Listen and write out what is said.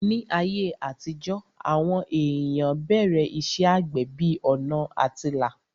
Ní ayé àtijó, àwọn èèyàn bẹ̀rẹ̀ iṣẹ́ àgbẹ̀ bí ọ̀nà àtilà